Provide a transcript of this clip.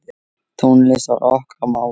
Tónlist var okkar mál.